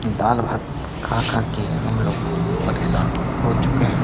दालभात खा खा के हम लोग परेशान हो चुके हैं।